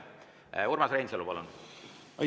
Urmas Reinsalu, palun!